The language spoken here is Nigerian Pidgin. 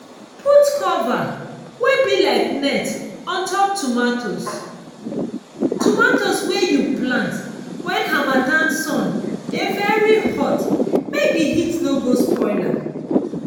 put cover wey be like net on top tomatoes tomatoes wey you plant when harmattan sun dey very hot make the heat no go spoil am.